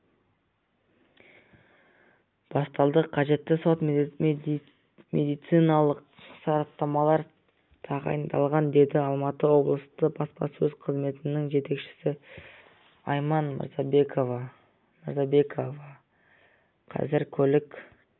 басталды қажетті сот-медициналық сараптамалар тағайындалған деді алматы облыстық баспасөз қызметінің жетекшісі айман мырзекова қазір көлік